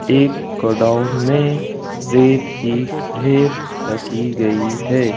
एक गोडाउन में रेत की ढेर रखी गई है।